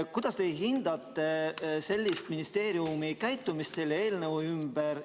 Kuidas teie hindate ministeeriumi käitumist selle eelnõu puhul?